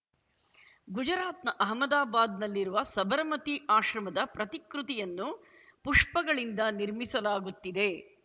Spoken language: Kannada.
ಗುಜರಾತ್‌ನ ಅಹಮದಾಬಾದ್‌ನಲ್ಲಿರುವ ಸಬರಮತಿ ಆಶ್ರಮದ ಪ್ರತಿಕೃತಿಯನ್ನು ಪುಷ್ಪಗಳಿಂದ ನಿರ್ಮಿಸಲಾಗುತ್ತಿದೆ